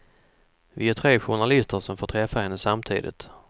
Vi är tre journalister som får träffa henne samtidigt.